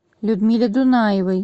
людмиле дунаевой